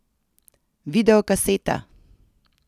Videokaseta!